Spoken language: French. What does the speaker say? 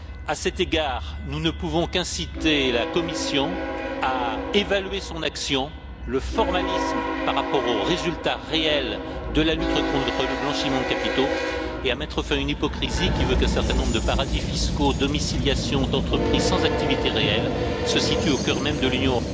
À cet égard, nous ne pouvons qu'inciter la Commission à évaluer son action, le formalisme par rapport aux résultats réels de la lutte contre le blanchiment de capitaux et à mettre fin à une hypocrisie qui veut qu'un certain nombre de paradis fiscaux, domiciliation d'entreprise sans activité réelle, se situent au coeur même de l'Union.